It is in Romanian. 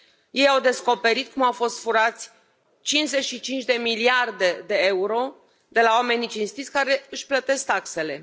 Ei au descoperit cum au fost furate 55 miliarde de euro de la oamenii cinstiți care își plătesc taxele.